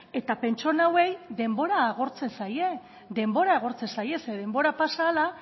eta pertsona hauei denbora agortzen zaie denbora agertzen zaie zeren denbora pasa hala